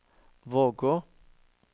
Vågå